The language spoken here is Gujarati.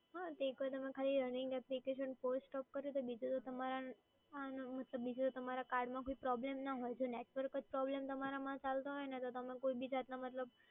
હા, તો એકવાર તમે ખાલી running applications force stop કરી દો બીજું એ કે તમારા card માં કોઈ problem ના હોવો જોઈએ. તમારામાં કોઈ problem ચાલતો હોય ને તો તમે કોઈ બીજા એટલે મતલબ